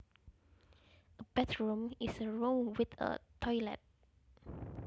A bathroom is a room with a toilet